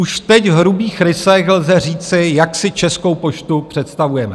Už teď v hrubých rysech lze říci, jak si Českou poštu představujeme.